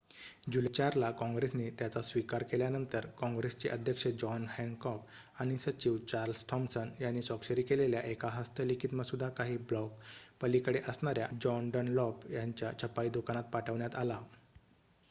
जुलै 4 ला कॉंग्रेसने त्याचा स्वीकार केल्यानंतर कॉंग्रेसचे अध्यक्ष जॉन हॅनकॉक आणि सचिव चार्ल्स थॉमसन यांनी स्वाक्षरी केलेल्या एक हस्तलिखित मसुदा काही ब्लॉक पलीकडे असणाऱ्या जॉन डनलॉप यांच्या छपाई दुकानात पाठवण्यात आला